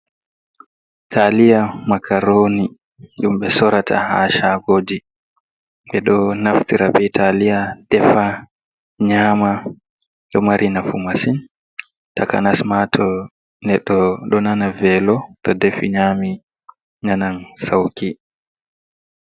Taaliya makaroni ɗum ɓe sorata ha shaagoji, ɓe ɗo naftira be taliya defa nyama, ɗo mari nafu masin takanasma to neɗɗo ɗo nana velo to defi nyami nanan sauki.